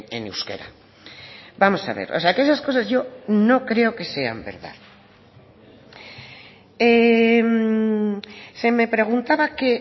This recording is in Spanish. en euskera vamos a ver o sea que esas cosas yo no creo que sean verdad se me preguntaba que